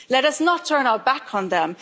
Let us not turn our back on them.